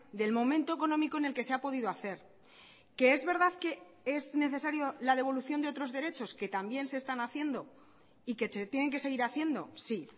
del momento económico en el que se ha podido hacer que es verdad que es necesario la devolución de otros derechos que también se están haciendo y que se tienen que seguir haciendo sí